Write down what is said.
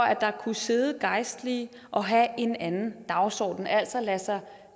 at der kunne sidde gejstlige og have en anden dagsorden altså lade sig